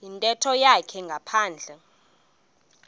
yintetho yakhe ngaphandle